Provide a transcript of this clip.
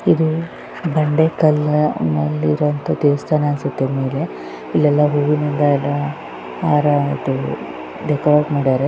ಇದು ಬಂಡೆಕಲ್ಲಿನಲ್ಲಿ ಇರುವಂತಹ ದೇವಸ್ಥಾನ ಅನ್ಸುತ್ತೆ ಮೇಲೆ ಇಲ್ಲಿ ಹೂವಿನ ಹಾರ ಡೆಕೋರೇಟ್ ಮಾಡ್ಯಾರ್ .